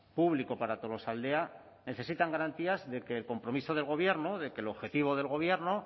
público para tolosaldea necesitan garantías de que el compromiso del gobierno de que el objetivo del gobierno